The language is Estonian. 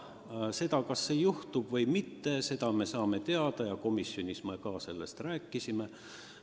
Mis juhtub, seda me saame teada, ja komisjonis me sellest ka rääkisime.